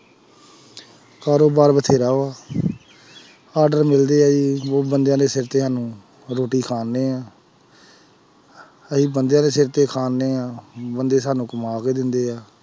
ਕਾਰੋਬਾਰ ਬਥੇਰਾ ਵਾ order ਮਿਲਦੇ ਬੰਦਿਆਂ ਦੇ ਸਿਰ ਤੇ ਸਾਨੂੰ ਰੋਟੀ ਖਾਂਦੇ ਹਾਂ ਅਸੀਂ ਬੰਦਿਆਂ ਦੇ ਸਿਰ ਤੇ ਖਾਂਦੇ ਹਾਂ ਬੰਦੇ ਸਾਨੂੰ ਕਮਾ ਕੇ ਦਿੰਦੇ ਹੈ,